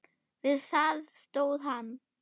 Við það stóð hann.